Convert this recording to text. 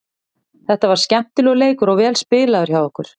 Þetta var skemmtilegur leikur og vel spilaður hjá okkur.